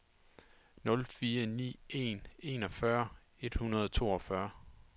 nul fire ni en enogfyrre et hundrede og toogfyrre